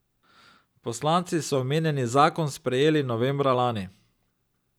Poslanci so omenjeni zakon sprejeli novembra lani.